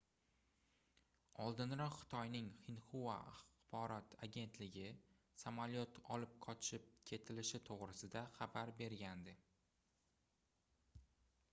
oldinroq xitoyning xinhua axborot agentligi samolyot olib qochib ketilishi toʻgʻrisida xabar bergandi